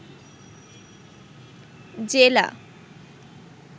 জেলা